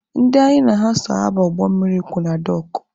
Ndị anyị na ha so aba ụgbọ mmiri kwụ na dọọkụ.